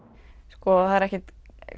sko það er ekkert